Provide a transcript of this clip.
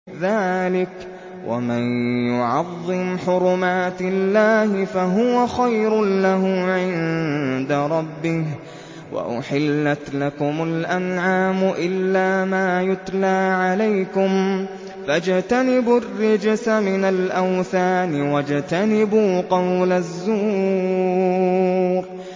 ذَٰلِكَ وَمَن يُعَظِّمْ حُرُمَاتِ اللَّهِ فَهُوَ خَيْرٌ لَّهُ عِندَ رَبِّهِ ۗ وَأُحِلَّتْ لَكُمُ الْأَنْعَامُ إِلَّا مَا يُتْلَىٰ عَلَيْكُمْ ۖ فَاجْتَنِبُوا الرِّجْسَ مِنَ الْأَوْثَانِ وَاجْتَنِبُوا قَوْلَ الزُّورِ